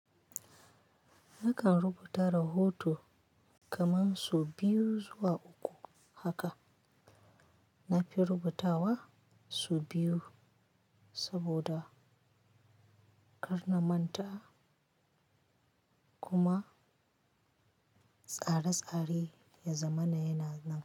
Nakan rubuta rahoto kaman su biyu zuwa uku haka. Na fi rubutawa su biyu saboda ƙarnaman ta kuma tsare-tsare ya zama na yana nan.